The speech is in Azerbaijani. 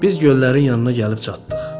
Biz göllərin yanına gəlib çatdıq.